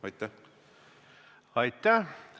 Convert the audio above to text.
Aitäh!